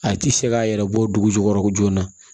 A tɛ se k'a yɛrɛ bɔ dugu jukɔrɔ ko joona